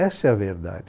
Essa é a verdade.